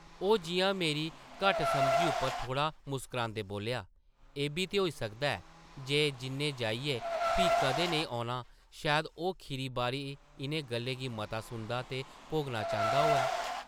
ओह् जिʼयां मेरी घट्ट-समझी उप्पर थोह्ड़ा मुस्करांदे बोल्लेआ, एʼब्बी ते होई सकदा ऐ जे जिʼन्नै जाइयै फ्ही कदें नेईं औना शायद ओह् खीरी बारी इʼनें गल्लें गी मता सुनना दे भोगना चांह्दा होऐ।